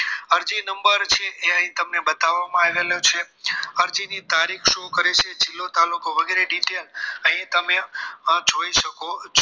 અરજી નંબર છે એ અહીં બતાવવામાં આવેલ છે અરજી ની તારીખ show કરે છે જિલ્લો તાલુકો વગેરે detail અહીં તમે જોઈ શકો છો